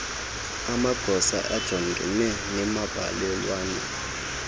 amagosa ajongene nembalelwano